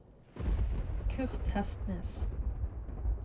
Kurt Hestnes